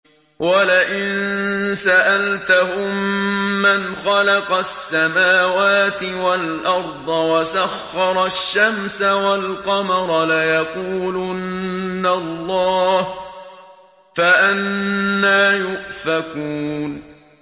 وَلَئِن سَأَلْتَهُم مَّنْ خَلَقَ السَّمَاوَاتِ وَالْأَرْضَ وَسَخَّرَ الشَّمْسَ وَالْقَمَرَ لَيَقُولُنَّ اللَّهُ ۖ فَأَنَّىٰ يُؤْفَكُونَ